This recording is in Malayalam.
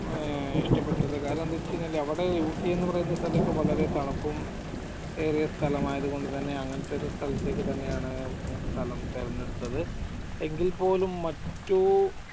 ഏർ ഇഷ്ടപ്പെട്ടത് കാരണം എന്താച്ചുകഴിഞ്ഞ അവടെ ഊട്ടീന്ന് പറയണ സ്ഥലമൊക്കെ വളരെ തണുപ്പും ഏറിയ സ്തലമായതുകൊണ്ട് തന്നെ അങ്ങനെത്തെ ഒരു സ്ഥലത്തേക്ക് തന്നെയാണ് സ്ഥലം തെരഞ്ഞെടുത്തത് എങ്കിൽപ്പോലും മറ്റു